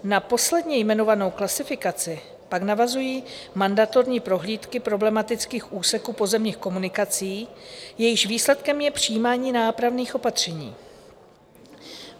Na posledně jmenovanou klasifikaci pak navazují mandatorní prohlídky problematických úseků pozemních komunikací, jejichž výsledkem je přijímání nápravných opatření.